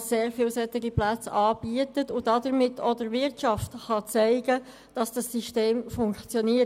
sehr viele derartige Plätze anbietet und damit auch der Wirtschaft zeigen kann, dass dieses System funktioniert.